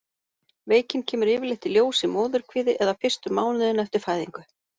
Veikin kemur yfirleitt í ljós í móðurkviði eða fyrstu mánuðina eftir fæðingu.